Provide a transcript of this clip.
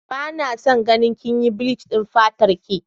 Bana son ganin kinyi bleach dinki fatarki.